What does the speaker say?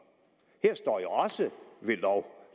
her står jo også ved lov